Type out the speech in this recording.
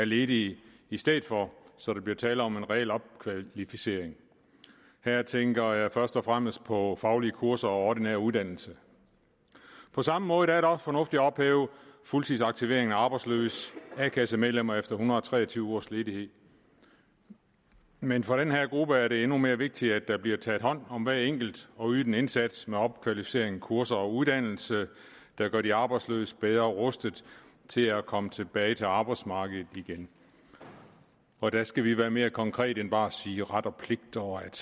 ledige i stedet for så der bliver tale om en reel opkvalificering her tænker jeg først og fremmest på faglige kurser og ordinær uddannelse på samme måde er det også fornuftigt at ophæve fuldtidsaktivering af arbejdsløse a kasse medlemmer efter en hundrede og tre og tyve ugers ledighed men for den her gruppe er det endnu mere vigtigt at der bliver taget hånd om hver enkelt og ydet en indsats med opkvalificering kurser og uddannelse der gør de arbejdsløse bedre rustet til at komme tilbage til arbejdsmarkedet igen og der skal vi være mere konkrete end bare at sige ret og pligt og at